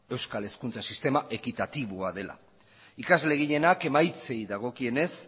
euskal hezkuntza sistema ekitatiboa dela ikasle gehienak emaitzei dagokienez